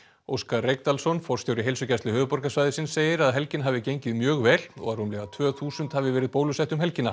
Óskar Reykdalsson forstjóri Heilsugæslu höfuðborgarsvæðisins segir að helgin hafi gengið mjög vel og að rúmlega tvö þúsund hafi verið bólusettir um helgina